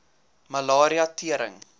malaria tering